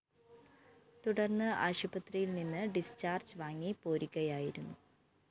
തുടര്‍ന്ന് ആശുപത്രിയില്‍ നിന്ന് ഡിസ്ചാർജ്‌ വാങ്ങി പോരികയായിരുന്നു